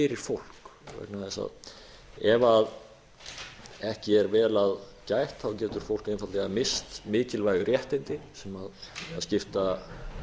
fólk vegna þess að ef ekki er vel að gætt getur fólk einfaldlega misst mikilvæg réttindi sem skipta